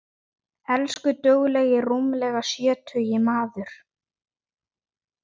Elsku duglegi rúmlega sjötugi maður.